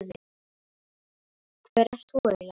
Hver ert þú eiginlega?